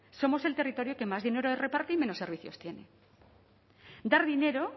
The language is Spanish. somos el territorio que más dinero reparte y menos servicios tiene dar dinero